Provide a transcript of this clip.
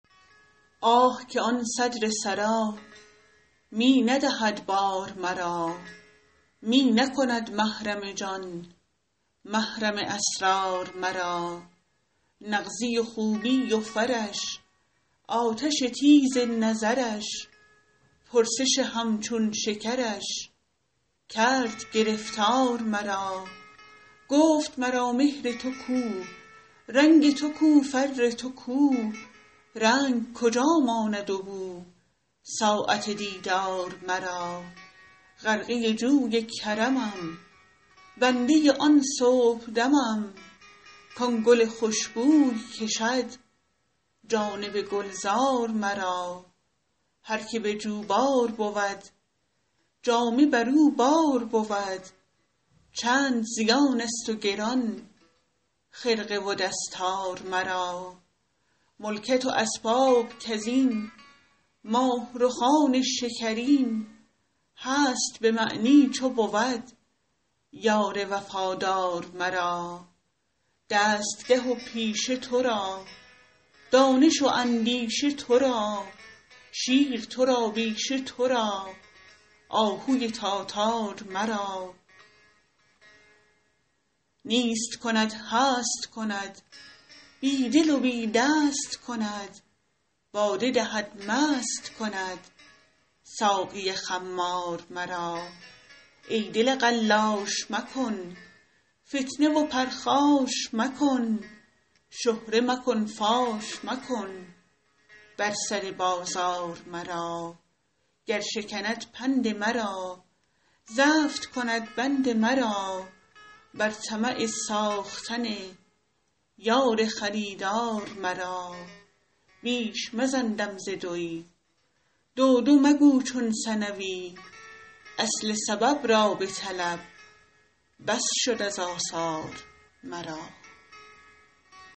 آه که آن صدر سرا می ندهد بار مرا می نکند محرم جان محرم اسرار مرا نغزی و خوبی و فرش آتش تیز نظرش پرسش همچون شکرش کرد گرفتار مرا گفت مرا مهر تو کو رنگ تو کو فر تو کو رنگ کجا ماند و بو ساعت دیدار مرا غرقه جوی کرمم بنده آن صبحدمم کان گل خوش بوی کشد جانب گلزار مرا هر که به جوبار بود جامه بر او بار بود چند زیانست و گران خرقه و دستار مرا ملکت و اسباب کز این ماه رخان شکرین هست به معنی چو بود یار وفادار مرا دستگه و پیشه تو را دانش و اندیشه تو را شیر تو را بیشه تو را آهوی تاتار مرا نیست کند هست کند بی دل و بی دست کند باده دهد مست کند ساقی خمار مرا ای دل قلاش مکن فتنه و پرخاش مکن شهره مکن فاش مکن بر سر بازار مرا گر شکند پند مرا زفت کند بند مرا بر طمع ساختن یار خریدار مرا بیش مزن دم ز دوی دو دو مگو چون ثنوی اصل سبب را بطلب بس شد از آثار مرا